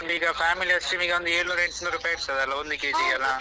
family ice cream ಗೆ ಒಂದು ಏಳ್ನೂರು ಎಂಟ್ನೂರು ರೂಪಾಯಿ ಇರ್ತದಲ್ಲ ಒಂದು KG ಗೆ ಎಲ್ಲಾ.